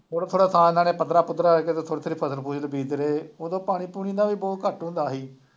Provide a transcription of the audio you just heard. ਥੋੜ੍ਹਾ ਥੋੜ੍ਹਾ ਤਾਂ ਇਹਨਾ ਨੇ ਪੱਧਰ ਪੁੱਧਰਾ ਥੋੜ੍ਹੀ ਥੋੜ੍ਹੀ ਫਸਲ ਫੂਸਲ ਬੀਜਦੇ ਰਹੇ, ਉਦੋਂ ਪਾਣੀ ਪੂਣੀ ਦਾ ਵੀ ਬਹੁਤ ਘੱਟ ਹੁੰਦਾ ਸੀ।